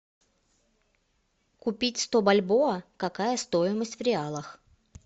купить сто бальбоа какая стоимость в реалах